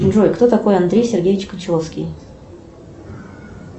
джой кто такой андрей сергеевич кончаловский